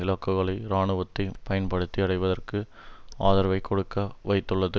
இலக்குகளை இராணுவத்தை பயன்படுத்தி அடைவதற்கு ஆதரவைக் கொடுக்க வைத்துள்ளது